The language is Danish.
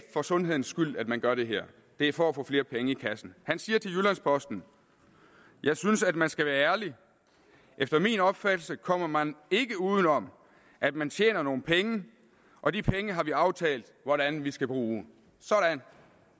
for sundhedens skyld at man gør det her det er for at få flere penge i kassen han siger til jyllands posten jeg synes at man skal være ærlig efter min opfattelse kommer man ikke uden om at man tjener nogen penge og de penge har vi aftalt hvordan vi skal bruge sådan